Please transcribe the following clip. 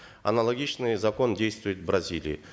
аналогичный закон действует в бразилии